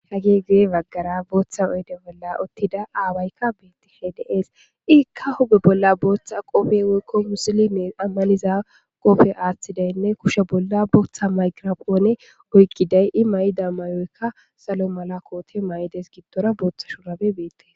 Ha gee gee baggara booththa oede bolla ottida aawaykka beetti hedes iikka huge bolla booththa qofe woykko musili mee ammaliza qofe aaththidaynne kushe bolla booththa maygirapoone oykkiday i may'da mayoykka salo mala koote mayides gittora booththa shurabe beette.